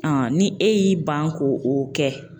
ni e y'i ban ko o kɛ